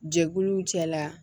Jɛkuluw cɛla